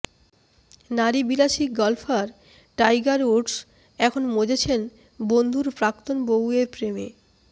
নারীবিলাসী golfer Tiger Woods এখন মজেছেন বন্ধুর প্রাক্তন বউয়ের প্রেমে